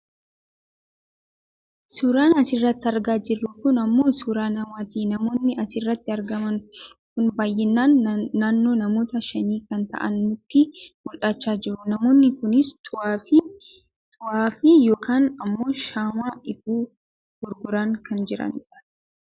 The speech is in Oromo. Suuraan asirratti argaa jiru kun ammoo suuraa namaati namoonni asirratti argaman kun baayyinaan naannoo namoota shanii kan ta'an nutti mul'achaa jiru namoonni kunis xuwaafi yookaan ammoo shaamaa ifu gurguraa kan jiranidha.